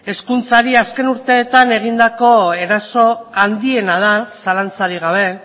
hezkuntzari azken urteetan egindako eraso handiena da zalantzarik gabe